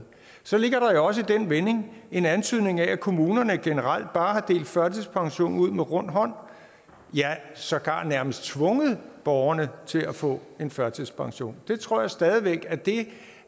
så ligger der jo også i den vending en antydning af at kommunerne generelt bare har delt førtidspension ud med rund hånd ja sågar nærmest tvunget borgerne til at få en førtidspension jeg tror stadig væk at det